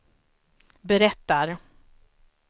berättar